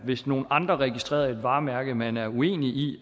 hvis nogle andre registrerer et varemærke man er uenig i